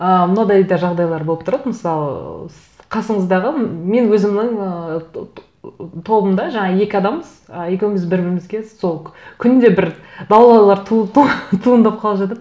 ы мынадай даже жағдайлар болып тұрады мысалы ыыы қасыңыздағы мен өзімнің ы тобымда жаңа екі адамбыз ы екеуіміз бір бірімізге сол күнде бір даулаулар туындап қалып жатады